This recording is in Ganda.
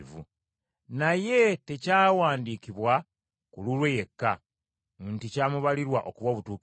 Naye tekyawandiikibwa ku lulwe yekka nti, “Kyamubalirwa okuba obutuukirivu;”